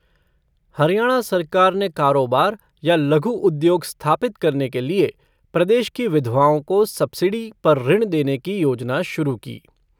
हरियाणा सरकार ने कारोबार या लघु उद्योग स्थापित करने के लिए प्रदेश की विधवाओं को सबसिडी पर ऋण देने की योजना शुरू की।